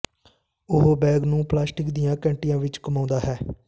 ਉਹ ਬੈਗ ਨੂੰ ਪਲਾਸਟਿਕ ਦੀਆਂ ਘੰਟੀਆਂ ਵਿਚ ਘੁਮਾਉਂਦਾ ਹੈ